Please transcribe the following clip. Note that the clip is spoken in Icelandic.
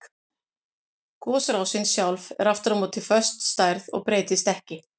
Gosrásin sjálf er aftur á móti föst stærð og breytist ekki.